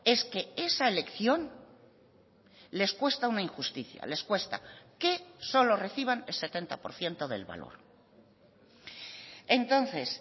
es que esa elección les cuesta una injusticia les cuesta que solo reciban el setenta por ciento del valor entonces